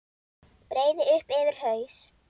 Breiði upp yfir haus.